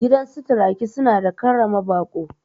Gidansu turaki suna da karrama baƙo